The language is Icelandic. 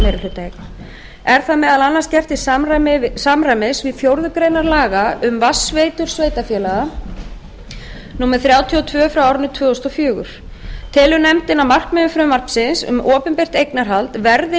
er það meðal annars gert til samræmis við fjórðu grein laga um vatnsveitur sveitarfélaga númer þrjátíu og tvö tvö þúsund og fjögur telur nefndin að markmiðum frumvarpsins um opinbert eignarhald verði